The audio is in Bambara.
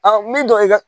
min dɔ i ka